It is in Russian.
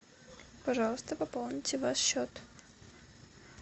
пожалуйста пополните ваш счет